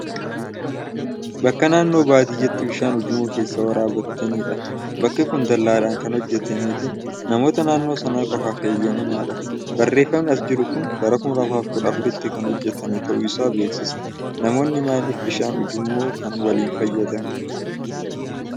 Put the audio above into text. Bakka naannoo baadiyyaatti bishaan ujummoo keessaa waraabbatenidha. Bakki kun dallaadhan kan hojjatameefi namoota naannoo sanaa qofaaf heeyyamamedha. Barreeffamni as irra jiru kun bara 2014tti kan hojjatami ta'uusaa beeksisa. Namoonni maaliif bishaan ujummoo waliin fayyadamuu?